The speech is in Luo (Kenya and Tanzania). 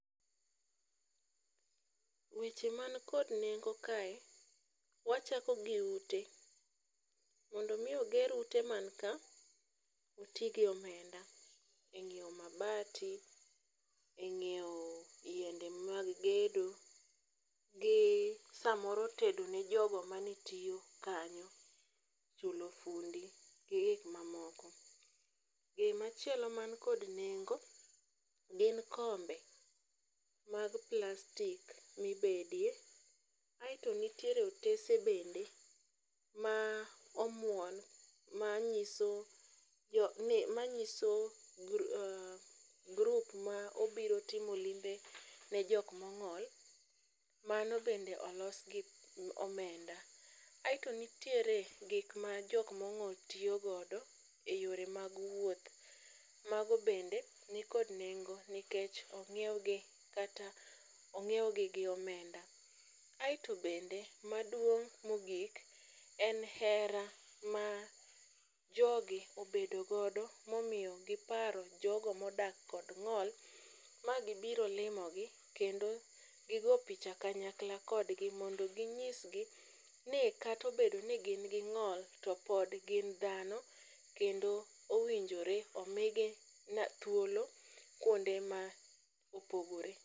Weche man kod nengo kae wachako gi ute. Mondo mi oger ute man ka , otigi omenda e ng'iewo mabati, e ng'iewo yiende mag gedo gi samoro tedo ne jogo mane tiyo kanyo chulo funde gi gik mamoko. Gimachielo man kod nengo gin kombe, mag plastic mibedie kasto nitiere otese bende ma omuon manyiso jo ni manyiso jo grup ma obiro timo limbe ne jok mong'ol mano bende olos gi omenda .Aeto nitiere gik ma jok mong'ol tiyo godo e yore mag wuoth, mago bende nikod nengo nikech ong'iew gi kata ong'iew gi gi omenda. Aeto bende maduong' mogik en hera ma jogi obedo godo momiyo giparo jogo modak kod ng'ol magibiro limogi kendo gigo picha kanyakla kodgi mondo ginyisgi ni kato bedo ni gin gi ng'ol to pod gin dhano kendo owinjore omigi thuolo kuonde ma opogore.